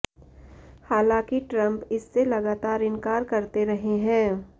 हालांकि ट्रंप इससे लगातार इनकार करते रहे हैं